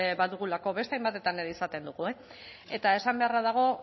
badugulako beste hainbatetan ere izaten dugu eta esan beharra dago